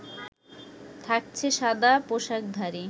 থাকছে সাদা পোশাকধারী